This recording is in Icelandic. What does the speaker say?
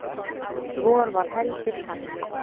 vor var heldur kalt